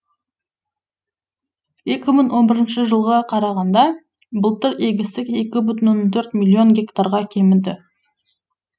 екі мың он бірінші жылға қарағанда былтыр егістік екі бүтін оннан төрт миллион гектарға кеміді